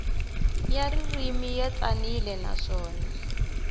ya ririmi ya tsanile naswona